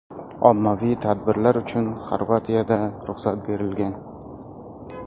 Ommaviy tadbirlar uchun Xorvatiyada ruxsat berilgan.